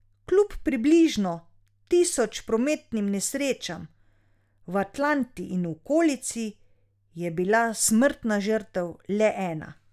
Kljub približno tisoč prometnim nesrečam v Atlanti in okolici, je bila smrtna žrtev le ena.